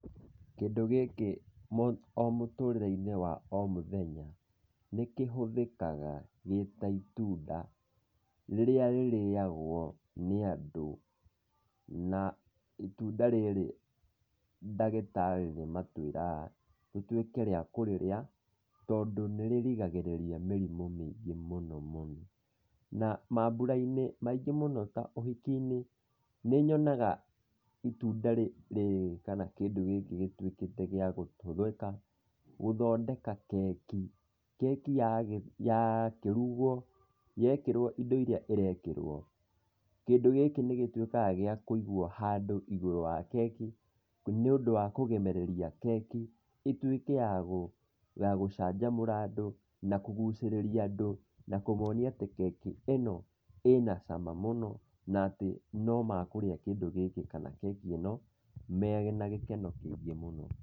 Kĩndũ gĩkĩ o mũtũrĩre-inĩ wa o mũthenya nĩ kĩhũthĩkaga gĩ ta ĩtunda rĩrĩa rĩrĩyagwo nĩ andũ. Na ĩtunda rĩrĩ ndagĩtarĩ nĩ matwĩraga tũtuĩke a kũrĩrĩa tondũ nĩ rĩrigagĩrĩria mĩrimũ mĩingĩ mũno muno. Na maambũra-inĩ maingĩ mũno ta ũhiki-inĩ nĩ nyonaga ĩtunda rĩrĩ kana kĩndũ gĩkĩ gĩtuĩkĩte gĩa kũhũthĩka gũthondeka keki. Keki yakĩrugwo yekĩrwo indo iria ĩrekĩrwo, kĩndũ gĩkĩ nĩgĩtuĩkaga gĩa kũigwo handũ igũrũ wa keki, nĩ ũndũ wa kũgemereria keki ĩtuĩke ya gũcanjamũra andũ na kũgucĩrĩria andũ na kũmonia atĩ keki ĩno ĩnacama mũno na atĩ nomekũrĩa kĩndũ gĩkĩ kana keki ĩno mena gĩkeno kĩingĩ mũno.